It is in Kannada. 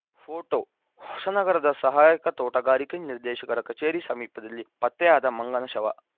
ಪೋಟೋ ಹೊಸನಗರದ ಸಹಾಯಕ ತೋಟಗಾರಿಕಾ ನಿರ್ದೇಶಕರ ಕಚೇರಿ ಸಮೀಪದಲ್ಲಿ ಪತ್ತೆಯಾದ ಮಂಗನ ಶವ